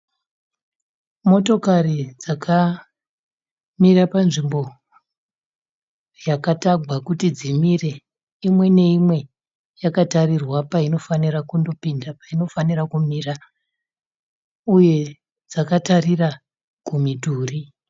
Motokari dzakamira panzvimbo yakatagwa kuti dzimire .Imwe neimwe yakatarirwa painofanirwa kupinda painofanirwa kumira uye dzakatarira kumidhuri.